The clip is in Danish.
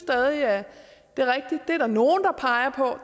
at det er der nogle der peger på